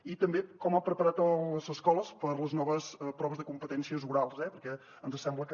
i també com ha preparat les escoles per a les noves proves de competències orals perquè ens sembla que